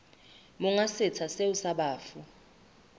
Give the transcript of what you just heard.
monga setsha seo sa bafu